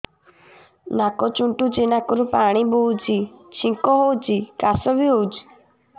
ନାକ ଚୁଣ୍ଟୁଚି ନାକରୁ ପାଣି ବହୁଛି ଛିଙ୍କ ହଉଚି ଖାସ ବି ହଉଚି